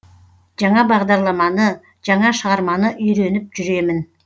жаңа бағдарламаны жаңа шығарманы үйреніп жүремін